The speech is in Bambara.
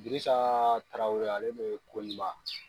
Dirisa Tarawele ale ni Koniba